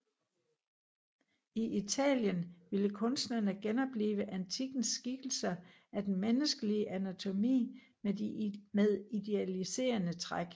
I Italien ville kunstnerne genoplive antikkens skikkelser af den menneskelige anatomi med idealiserende træk